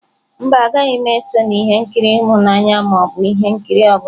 Mba, agaghị m eso na ihe nkiri ịhụnanya ma ọ bụ ihe nkiri ọ bụla.